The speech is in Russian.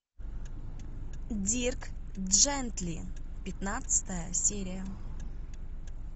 дирк джентли пятнадцатая серия